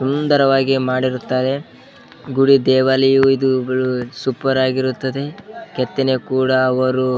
ಸುಂದರವಾಗಿ ಮಾಡಿರ್ತಾರೆ ಗುಡಿ ದೇವಾಲಯ‌ ಇದುಗಳು ಸೂಪರ್ ಆಗಿರುತ್ತದೆ ಕೆತ್ತನೆ ಕೂಡ ಅವರು --